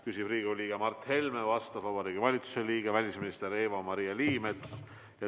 Küsib Riigikogu liige Mart Helme, vastab Vabariigi Valitsuse liige, välisminister Eva-Maria Liimets.